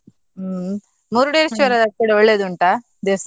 ಹ್ಮ್, Murdeshwar ಕೂಡ ಒಳ್ಳೆದುಂಟಾ ದೇವಸ್ಥಾನ?